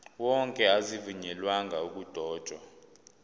wonke azivunyelwanga ukudotshwa